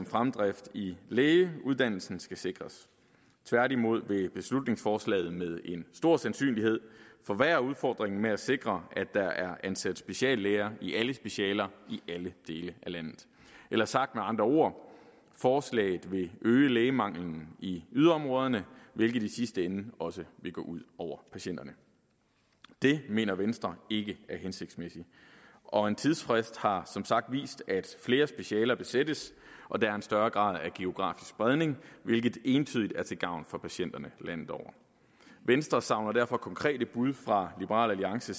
fremdrift i lægeuddannelsen skal sikres tværtimod vil beslutningsforslaget med stor sandsynlighed forværre udfordringen med at sikre at der er ansat speciallæger i alle specialer i alle dele af landet eller sagt med andre ord forslaget vil øge lægemanglen i yderområderne hvilket i sidste ende også vil gå ud over patienterne det mener venstre ikke er hensigtsmæssigt og en tidsfrist har som sagt vist at flere specialer besættes og at der er en større grad af geografisk spredning hvilke entydigt er til gavn for patienterne landet over venstre savner derfor konkrete bud fra liberal alliance